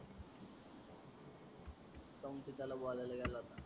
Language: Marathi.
काउन ते त्याला बोलायला गेला होता.